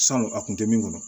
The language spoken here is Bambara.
Sanu a kun tɛ min kɔnɔ